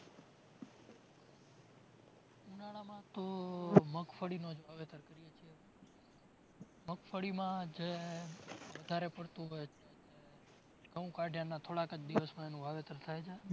ઉનાળામાં તો મગફળીનો જ વાવેતર કરીએ છે મગફળીમાં જે વધારે પડતું ઘઉં કાઢયાના થોડાક જ દિવસમાં એનું વાવેતર થાય છે